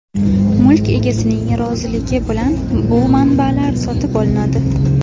Mulk egasining roziligi bilan bu manbalar sotib olinadi.